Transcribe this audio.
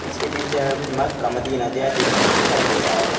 इसके पीछे हर कुछ मक्का मदीना जैसे कुछ दिखाई दे रहा है।